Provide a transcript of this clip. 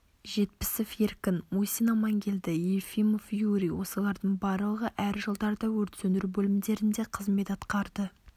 жетпісов еркін мусин амангелді ефимов юрий осылардың барлығы әр жылдарда өрт сөндіру бөлімдерінде қызмет атқарды